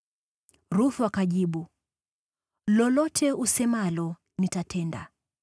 Ruthu akajibu, “Lolote usemalo nitatenda.”